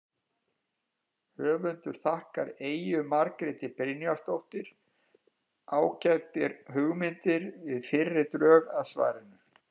Höfundur þakkar Eyju Margréti Brynjarsdóttur ágætar athugasemdir við fyrri drög að svarinu.